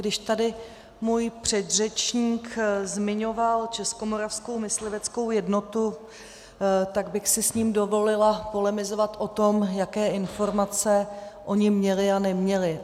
Když tady můj předřečník zmiňoval Českomoravskou mysliveckou jednotu, tak bych si s ním dovolila polemizovat o tom, jaké informace oni měli a neměli.